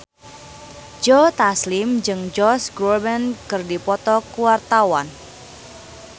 Joe Taslim jeung Josh Groban keur dipoto ku wartawan